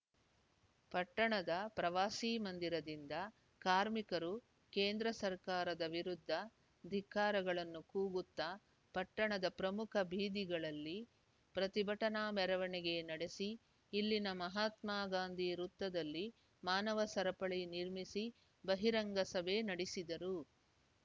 ಪಟ್ಟಣದ ಪ್ರವಾಸಿ ಮಂದಿರದಿಂದ ಕಾರ್ಮಿಕರು ಕೇಂದ್ರ ಸರ್ಕಾರದ ವಿರುದ್ಧ ಧಿಕ್ಕಾರಗಳನ್ನು ಕೋಗುತ್ತಾ ಪಟ್ಟಣದ ಪ್ರಮುಖ ಬೀದಿಗಳಲ್ಲಿ ಪ್ರತಿಭಟನಾ ಮೆರವಣಿಗೆ ನಡೆಸಿ ಇಲ್ಲಿನ ಮಹಾತ್ಮಗಾಂಧಿ ವೃತ್ತದಲ್ಲಿ ಮಾನವ ಸರಪಳಿ ನಿರ್ಮಿಸಿ ಬಹಿರಂಗ ಸಭೆ ನಡೆಸಿದರು